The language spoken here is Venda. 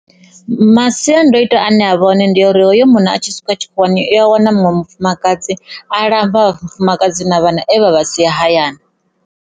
Masiandoitwa ane a vha hone ndi a uri hoyo munna a tshi swika tshikhuwani u ya wana muṅwe mufumakadzi a lamba mufumakadzi na vhana e avha sia hayani.